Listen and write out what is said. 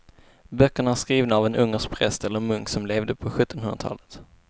Böckerna är skrivna av en ungersk präst eller munk som levde på sjuttonhundratalet.